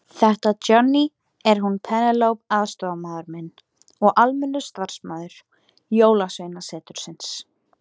Þetta Johnny, er hún Penélope aðstoðarmaður minn og almennur starfsmaður Jólasveinasetursins.